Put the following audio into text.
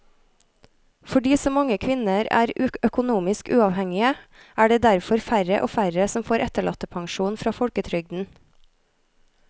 Fordi så mange kvinner er økonomisk uavhengige er det derfor færre og færre som får etterlattepensjon fra folketrygden.